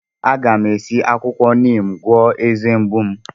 A ga m esi akwukwo Neem gwọọ eze mgbu m.